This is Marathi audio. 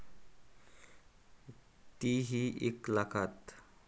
ती ही एक लाखात.